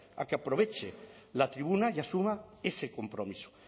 a que aproveche la tribuna y asuma ese compromiso